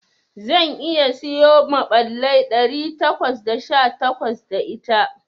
Zan iya siyo maɓallai ɗari takwas da sha takwas da ita.